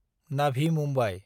Navi Mumbai